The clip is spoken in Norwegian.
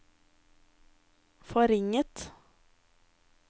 forringet